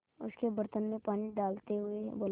उसके बर्तन में पानी डालते हुए बोला